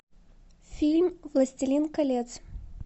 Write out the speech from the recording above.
фильм властелин колец